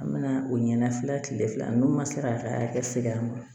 An bɛna o ɲɛna fila kile fila n'u ma se ka kɛ segila ma